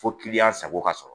Fo kiliyan sago ka sɔrɔ